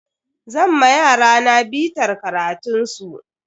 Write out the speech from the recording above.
Zan ma yarana bitar karatun su.